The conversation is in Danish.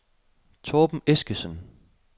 Torben Eskesen